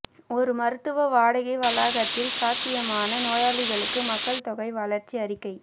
ஒரு மருத்துவ வாடகை வளாகத்தில் சாத்தியமான நோயாளிகளுக்கு மக்கள் தொகை வளர்ச்சி அறிக்கை